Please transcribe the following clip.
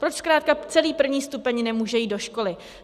Proč zkrátka celý první stupeň nemůže jít do školy.